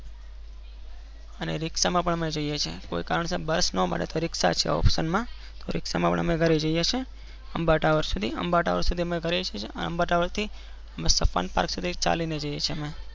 અને રિક્ષ માં પણ અમે કોઈ કારણરસર bus ના મળે તો રિક્ષા option મ ઘરે જૈયે છીએ અંબા tower સુધી અંબા tower સુધી અમે સપન park થી ચાલી ને જૈયે છીએ.